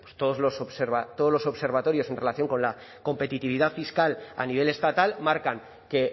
pues todos los observatorios en relación con la competitividad fiscal a nivel estatal marcan que